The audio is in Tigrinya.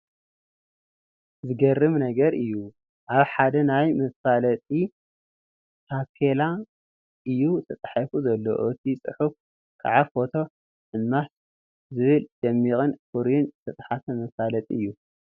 ዝገርም ነገር እዩ፡፡ ኣብ ሓደ ናይ መፋለጢ ታፔላ እዩ ተፃሕፉ ዘሎ፡፡ እቲ ፅሑፍ ከዓ ፎቶ ሕማሶ ዝብል ደሚቅን ፍሩይን ዝተፃሕፈ መፋለጢ እዩ፡፡